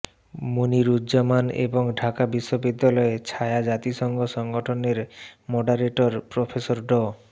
মনিরুজ্জামান এবং ঢাকা বিশ্ববিদ্যালয় ছায়া জাতিসংঘ সংগঠনের মডারেটর প্রফেসর ড